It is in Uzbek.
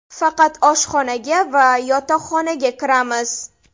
Faqat oshxonaga va yotoqxonaga kiramiz.